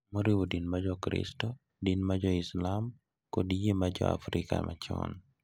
Moriwo din ma Jokristo, din mar Islam, kod yie ma jo Afrika machon,